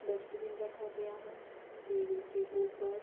Dustbin रखा गया है टेबिल के ऊपर।